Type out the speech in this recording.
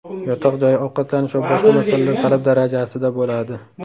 Yotoq joy, ovqatlanish va boshqa masalalar talab darajasida bo‘ladi.